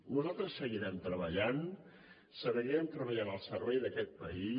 nosaltres seguirem treballant seguirem treballant al servei d’aquest país